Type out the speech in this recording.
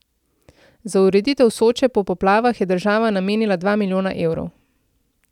Za ureditev Soče po poplavah je država namenila dva milijona evrov.